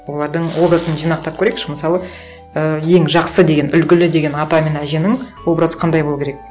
олардың образын жинақтап көрейікші мысалы і ең жақсы деген үлгілі деген ата мен әженің образы қандай болу керек